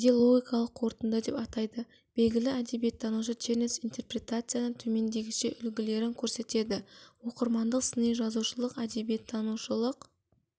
кейде логикалық қорытынды деп атайды белгілі әдебиеттанушы чернец интерпретацияның төмендегіше үлгілерін көрсетеді оқырмандық сыни жазушылық әдебиет танушылық